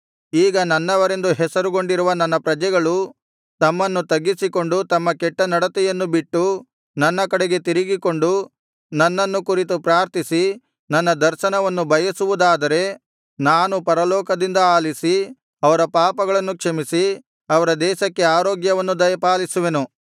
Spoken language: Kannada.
ಈಗ ನನ್ನವರೆಂದು ಹೆಸರುಗೊಂಡಿರುವ ನನ್ನ ಪ್ರಜೆಗಳು ತಮ್ಮನ್ನು ತಗ್ಗಿಸಿಕೊಂಡು ತಮ್ಮ ಕೆಟ್ಟ ನಡತೆಯನ್ನು ಬಿಟ್ಟು ನನ್ನ ಕಡೆಗೆ ತಿರುಗಿಕೊಂಡು ನನ್ನನ್ನು ಕುರಿತು ಪ್ರಾರ್ಥಿಸಿ ನನ್ನ ದರ್ಶನವನ್ನು ಬಯಸುವುದಾದರೆ ನಾನು ಪರಲೋಕದಿಂದ ಆಲಿಸಿ ಅವರ ಪಾಪಗಳನ್ನು ಕ್ಷಮಿಸಿ ಅವರ ದೇಶಕ್ಕೆ ಆರೋಗ್ಯವನ್ನು ದಯಪಾಲಿಸುವೆನು